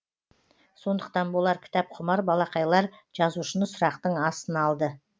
сондықтан болар кітапқұмар балақайлар жазушыны сұрақтың астына алды